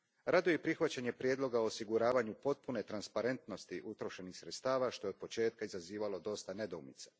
Raduje prihvaćanje prijedloga o osiguravanju potpune transparentnosti utrošenih sredstava, što je od početka izazivalo dosta nedoumica.